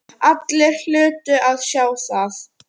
Allir hlutu að sjá það.